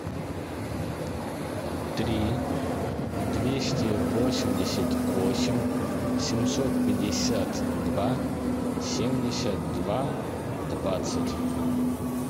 три двести восемьдесят восемь семьсот пятьдесят два семьдесят два двадцать